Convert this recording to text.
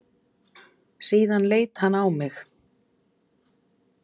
Síðan leit hann á mig.